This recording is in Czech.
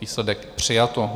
Výsledek - přijato.